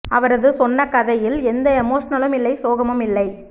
அவரது சொன்ன கதையில் எந்த எமோஷனலும் இல்லை சோகமும் இல்லை